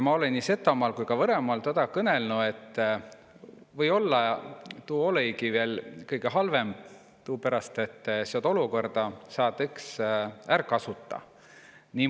Ma olõ ka nii Setomaal kui Võromaal kõnõlnu tuud, õt kooni Eesti riik uma kiilt erälde keelena tunsta-i, saa tuud är kasuta.